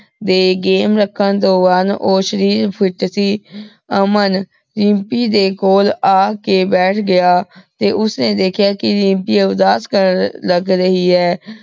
ਦੇ game ਰਖਣ ਤੋਂ ਬਾਅਦ ਊ ਸ਼ਰੀਰ fit ਸੀ। ਅਮਨ, ਦਿਮ੍ਪੀ ਦੇ ਕੋਲ ਆ ਕੇ ਬੈਠ ਗਯਾ ਤੇ ਓਸ੍ਨੀ ਦੇਖ੍ਯਾ ਕੇ ਦਿਮ੍ਪੀ ਉਦਾਸ ਕਰ ਲਗ ਰਹੀ ਹੈ।